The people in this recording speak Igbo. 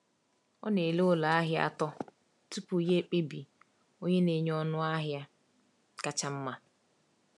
Ọ na-ele ụlọ ahịa atọ tupu ya ekpebi onye na-enye ọnụ ahịa kacha mma.